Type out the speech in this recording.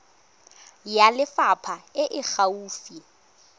ya lefapha e e gaufi